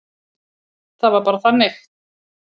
Það var bara þannig.